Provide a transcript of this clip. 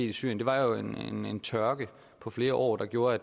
i syrien er jo den tørke på flere år der gjorde at